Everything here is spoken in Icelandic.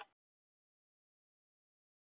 Ég er í toppformi.